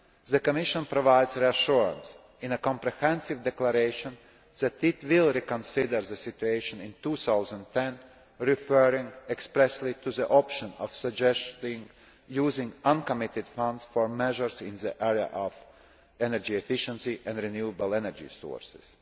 The Commission provides reassurance in a comprehensive declaration that it will reconsider the situation in 2010, referring expressly to the option of suggesting using uncommitted funds for measures in the area of energy efficiency and renewable energy sources.